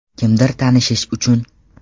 Kimdir tanishish uchun.